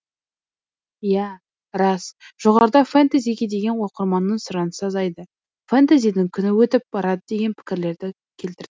иә рас жоғарыда фэнтезиге деген оқырманның сұранысы азайды фэнтезидің күні өтіп барады деген пікірлерді келтірдік